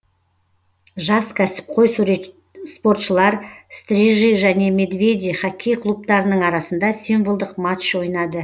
жас кәсіпқой спортшылар стрижи және медведи хоккей клубтарының арасында символдық матч ойнады